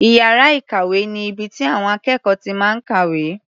Iyàrá ìkàwé ni ibi tí àwọn akékọ̀ọ́ ti máa ń kàwé.